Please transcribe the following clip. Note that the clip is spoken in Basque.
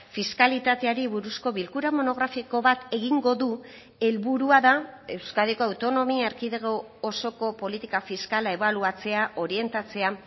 fiskalitateari buruzko bilkura monografiko bat egingo du helburua da euskadiko autonomia erkidego osoko politika fiskala ebaluatzea orientatzea